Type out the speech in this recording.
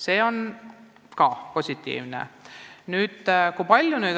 See on positiivne.